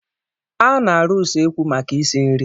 A na-arụ usekwu maka isi nri.